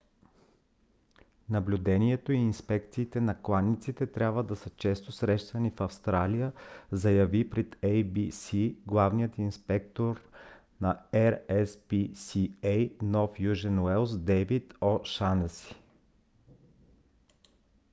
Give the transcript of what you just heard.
наблюдението и инспекциите на кланиците трябва да са често срещани в австралия заяви пред abc главният инспектор на rspca нов южен уелс дейвид о'шанеси